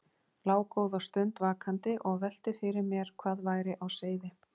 Lá góða stund vakandi og velti fyrir mér hvað væri á seyði.